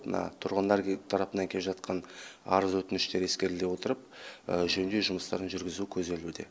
мына тұрғындар тарапынан келіп жатқан арыз өтініштер ескеріле отырып жөндеу жұмыстарын жүргізу көзделуде